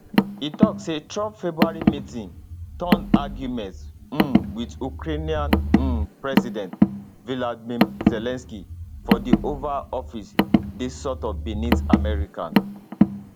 e tok say trump february meetingturnedargument um wit ukrainian um president volodymyr zelensky for di oval office dey sort of beneath america